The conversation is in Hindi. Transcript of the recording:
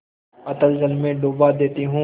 अतल जल में डुबा देती हूँ